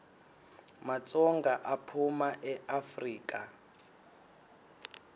matsonga aphuma eafrika